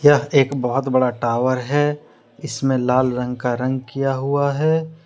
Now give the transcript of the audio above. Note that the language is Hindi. यह एक बहुत बड़ा टावर है इसमें लाल रंग का रंग किया हुआ है ।